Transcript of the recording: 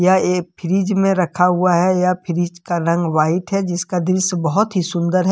यह एक फ्रिज रखा हुआ है यह फ्रिज का रंग व्हाइट है जिसका दृश्य बहुत ही सुंदर है।